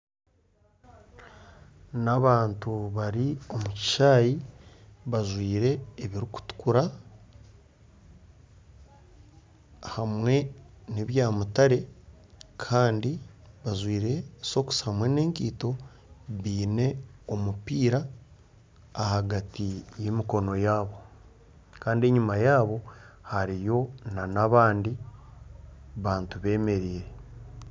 Ni abantu bari omu kishaayi bajwaire ebirikutukura ahamwe n'ebya mutare Kandi bajwaire sokisi hamwe n'enkaito baine omupiira ahagati y'emikono yaabo. Kandi enyuma yaabo hariyo na abandi bantu bemereire.